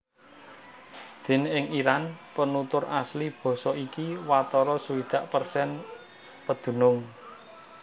Déné ing Iran penutur asli basa iki watara swidak persen pedunung